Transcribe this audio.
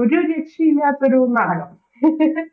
ഒരു രക്ഷയില്ലാതൊരു നാടകം